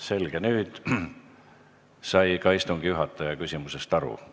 Selge, nüüd sai ka istungi juhataja küsimusest aru.